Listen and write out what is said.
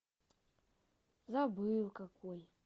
забыл какой